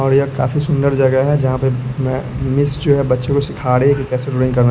और यह काफी सुंदर जगह है जहाँ पर म् मिस जो है बच्चों को सिखा रही है कि कैसे रोडिंग करना --